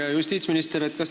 Hea justiitsminister!